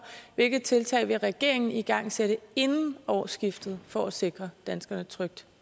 hvilke tiltag vil regeringen igangsætte inden årsskiftet for at sikre danskerne tryghed